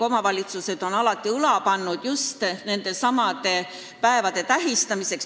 Omavalitsused on alati nende päevade tähistamiseks õla alla pannud.